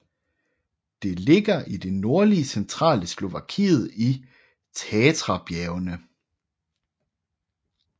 Det ligger i det nordlige centrale Slovakiet i Tatrabjergene